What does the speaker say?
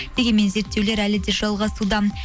дегенмен зерттеулер әлі де жалғасуда